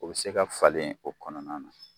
O bɛ se ka falen o kɔnɔna na.